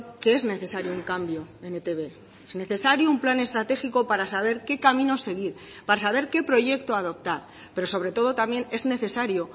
que es necesario un cambio en etb necesario un plan estratégico para saber qué camino seguir para saber qué proyecto adoptar pero sobretodo también es necesario